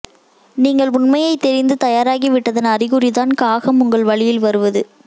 நீங்கள் உண்மையை தெரிந்து தயாராகி விட்டதன் அறிகுறிதான் காகம் உங்கள் வழியில் வருவது